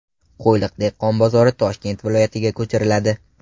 Qo‘yliq dehqon bozori Toshkent viloyatiga ko‘chiriladi.